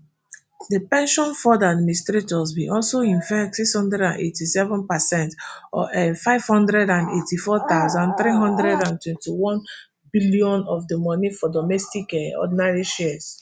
di pension fund administrators bin also invest six hundred and eighty-seven per cent or nfive hundred and eighty-four thousand, three hundred and twenty-onebillionn of di money for domestic um ordinary shares